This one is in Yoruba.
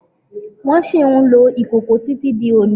Wón ṣì ń lò ìkòkò tí tí di òní